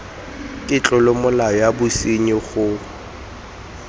ke tlolomolao ya bosenyi go